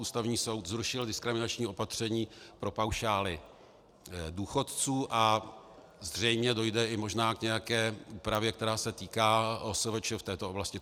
Ústavní soud zrušil diskriminační opatření pro paušály důchodců a zřejmě dojde i možná k nějaké úpravě, která se týká OSVČ v této oblasti.